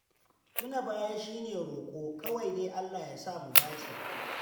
Tuna baya shi ne roƙo, kawai dai Allah ya samu dace.